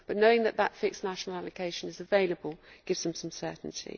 But knowing that the fixed national allocation is available gives them some certainty.